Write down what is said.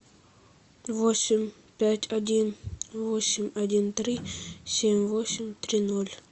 восемь пять один восемь один три семь восемь три ноль